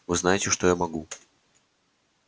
вы знаете что я могу